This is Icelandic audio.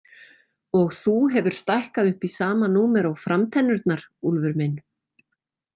Og þú hefur stækkað upp í sama númer og framtennurnar, Úlfur minn.